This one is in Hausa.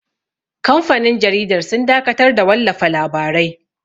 Kamfanin jaridar sun dakatar da wallafa labarai